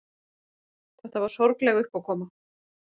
Þetta var sorgleg uppákoma.